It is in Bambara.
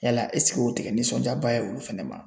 Yala ɛsike o te kɛ nisɔnjaba ye olu fɛnɛ ma